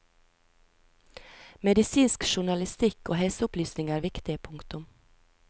Medisinsk journalistikk og helseopplysning er viktig. punktum